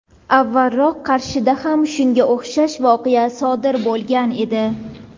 avvalroq Qarshida ham shunga o‘xshash voqea sodir bo‘lgan edi.